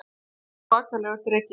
Þetta var svakalegur dreki